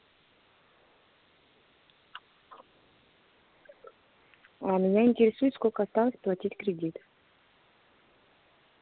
а меня интересует сколько осталось платить кредит